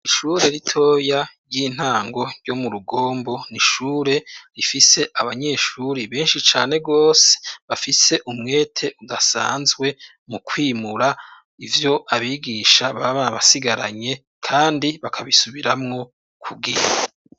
Ishure ritoya ry'intango ryo mu Rugombo, n'ishure rifise abanyeshuri benshi cane gose, bafise umwete udasanzwe mu kwimura ivyo abigisha baba basigaranye kandi bakabisubiramwo kubwinshi.